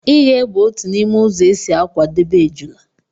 ighe bụ otu n'ime ụzọ e si akwadebe ejula